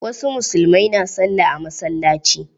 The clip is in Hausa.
Wasu musulmai na sallah a masalaci.